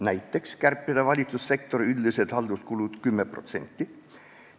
Näiteks võiks kärpida valitsussektori üldisi halduskulusid 10%.